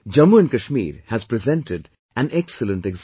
Jammu & Kashmir has presented an excellent example